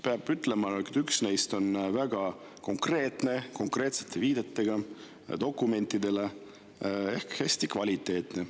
Peab ütlema, et üks neist on väga konkreetne, konkreetsete viidetega dokumentidele ehk hästi kvaliteetne.